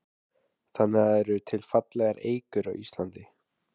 Þannig að það eru til fallegar eikur á Íslandi?